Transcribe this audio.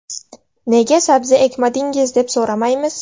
Nega sabzi ekmadingiz deb so‘ramaymiz?